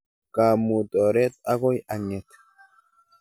Kaamuut oret akoi ang'et